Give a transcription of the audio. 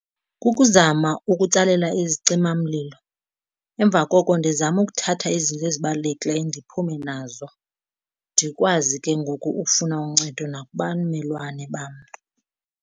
Kukuzama ukutsalela izicimamlilo, emva koko ndizame ukuthatha izinto ezibalulekileyo ndiphume nazo ndikwazi ke ngoku ukufuna uncedo nakubamelwane bam.